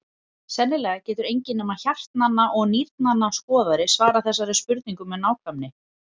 Sennilega getur enginn nema hjartnanna og nýrnanna skoðari svarað þessari spurningu með nákvæmni.